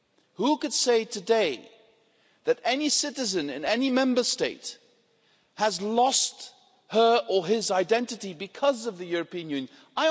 Who could say today that any citizen, in any Member State, has lost her or his identity because of the European Union?